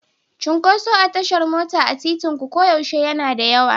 Cunkoso a tashar mota a titinku koyaushe yana da yawa.